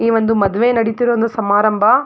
ಈ ಒಂದು ಮದುವೆ ನಡೀತಾ ಇರೋ ಒಂದು ಸಮಾರಂಭ.